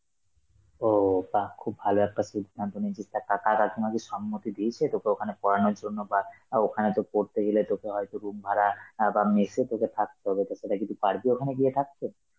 ও বাহ খুব ভালো একটা সিদ্ধান্ত নিয়েছিস, তা কাকার এখনো কি সম্মতি দিয়েছে তোকে ওখানে পড়ানোর জন্য বা আ ওখানে তোর পড়তে গেলে তোকে হয়তো room ভাড়া আ বা mess এ তোকে থাকতে হবে, তো সেটা কি তুই পারবি ওখানে গিয়ে থাকতে?